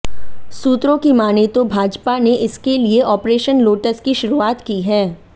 सूत्रों की मानें तो भाजपा ने इसके लिए ऑपरेशन लोटस की शुरुआत की है